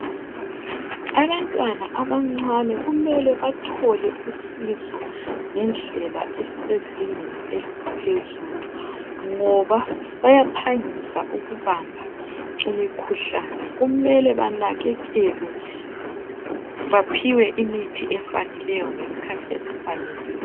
Abantwana abancane kumele bathole usizo ngendlela esezingeni eliphezulu ngoba bayaphangisa ukubamba imikhuhlane kumele banakekelwe baphiwe imithi efaneleyo ngesikhathi esifaneleyo.